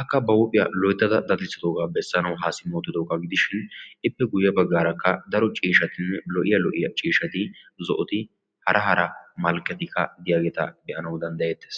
akka ba huuphioya bessanawu haa simma uttidoogaa gidishin ippe guye bagaarakka daro ciishatinne lo'iya hara hara malkketi diyaageeta be'ana danddayetees.